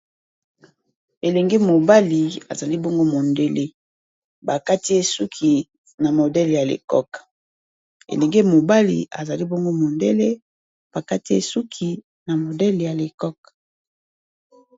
elenge mobali azali bongo modele bakati esuki na modele ya lecok elenge mobali azali bongo modele bakati esuki na modele ya lecok